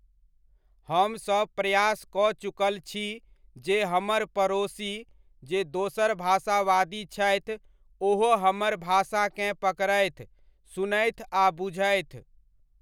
हम सब प्रयास कऽ चुकल छी जे हमर पड़ोसी, जे दोसर भाषावादी छथि ओहो हमर भाषाकेँ पकड़थि, सुनथि आ बुझथि।